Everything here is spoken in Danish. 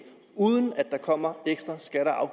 uden at der kommer ekstra skatter og